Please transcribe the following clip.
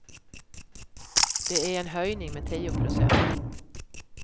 Det är en höjning med tio procent.